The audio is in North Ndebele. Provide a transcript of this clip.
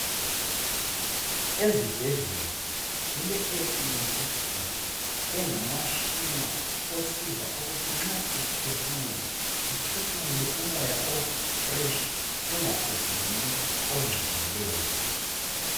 Ezibhedlela kuleAir clean system engumashina osiza ukuthi nxa sesiphefumula siphefumule umoya ofresh singaphefumuli ongcolileyo